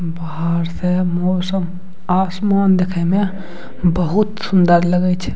बाहर से मौसम आसमान देखे में बहुत सूंदर लगे छै।